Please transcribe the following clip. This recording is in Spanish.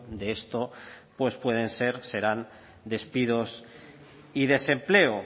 de esto pues pueden ser serán despidos y desempleo